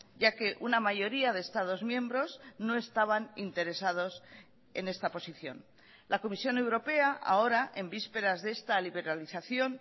ya que una mayoría de estados miembros no estaban interesados en esta posición la comisión europea ahora en vísperas de esta liberalización